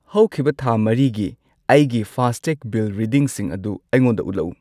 ꯍꯧꯈꯤꯕ ꯊꯥ ꯃꯔꯤꯒꯤ ꯑꯩꯒꯤ ꯐꯥꯁꯇꯦꯒ ꯕꯤꯜ ꯔꯤꯗꯤꯡꯁꯤꯡ ꯑꯗꯨ ꯑꯩꯉꯣꯟꯗ ꯎꯠꯂꯛꯎ꯫